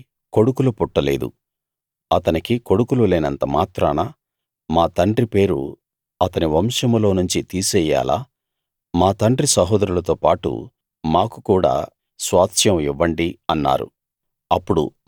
అతనికి కొడుకులు పుట్టలేదు అతనికి కొడుకులు లేనంత మాత్రాన మా తండ్రి పేరు అతని వంశంలోనుంచి తీసెయ్యాలా మా తండ్రి సహోదరులతో పాటు మాకు కూడా స్వాస్థ్యం ఇవ్వండి అన్నారు